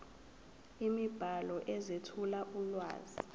imibhalo ezethula ulwazi